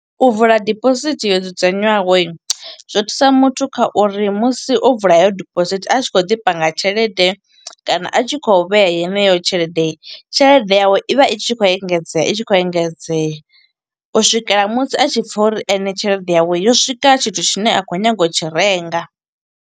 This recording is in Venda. U vula dibosithi yo dzudzanywaho, zwo thusa muthu kha uri musi o vula he yo diposithi a tshi kho ḓi panga tshelede kana a tshi khou vhea yeneyo tshelede. Tshelede yawe i vha i tshi khou engedzea i tshi khou engedzea. U swikela musi a tshi pfa uri ene tshelede yawe, yo swika tshithu tshine a khou nyaga u tshi renga.